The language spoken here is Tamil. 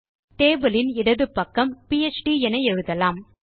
டேபிள் யின் இடது பக்கம் பிஎச்டி என எழுதலாம்